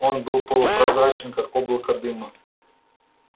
он был полупрозрачен как облако дыма